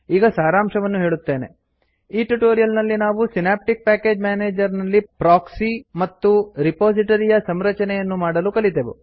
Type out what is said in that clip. ಈಗ ಸಾರಾಂಶವನ್ನು ಹೇಳುತ್ತೇನೆ ಈ ಟ್ಯುಟೋರಿಯಲ್ ನಲ್ಲಿ ನಾವು ಸಿನಾಪ್ಟ್ಕ್ ಪ್ಯಾಕೇಜ್ ಮೇನೇಜರ್ ನಲ್ಲಿ ಪ್ರೋಕ್ಸಿ ಮತ್ತು ರೆಪೋಸಿಟೊರಿ ಯ ಸಂರಚನೆಯನ್ನು ಮಾಡಲು ಕಲಿತೆವು